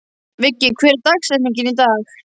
Viggi, hver er dagsetningin í dag?